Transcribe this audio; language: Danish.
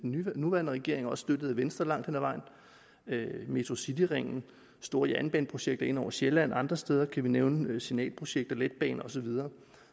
nuværende regering og støttet af venstre langt hen ad vejen metrocityringen store jernbaneprojekter ind over sjælland andre steder kan vi nævne signalprojekter letbaner og så videre